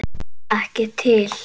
Ekki til.